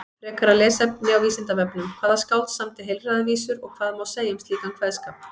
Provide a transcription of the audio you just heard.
Frekara lesefni á Vísindavefnum: Hvaða skáld samdi heilræðavísur og hvað má segja um slíkan kveðskap?